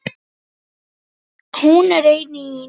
Hún er enn í notkun.